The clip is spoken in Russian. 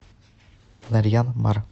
нарьян мар